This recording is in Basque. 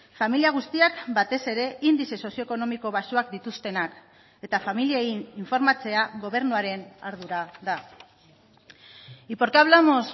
familia guztiak batez ere indize sozio ekonomiko baxuak dituztenak eta familiei informatzea gobernuaren ardura da y por qué hablamos